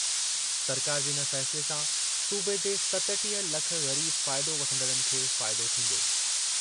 सरकार जे इन फ़ैसिले सां सूबे जे सतटीह लख ग़रीब फ़ाइदो वठंदड़नि खे फ़ाइदो थींदो।